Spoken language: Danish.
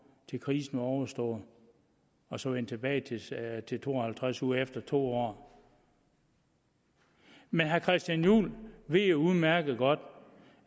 til krisen var overstået og så vende tilbage til to og halvtreds uger efter to år men herre christian juhl ved jo udmærket godt